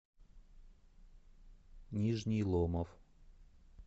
нижний ломов